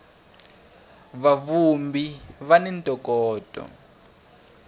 va vhumbhi va ni ntokoto